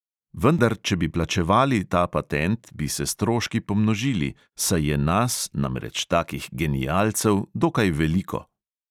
Vendar če bi plačevali ta patent, bi se stroški pomnožili, saj je nas, namreč takih genialcev, dokaj veliko.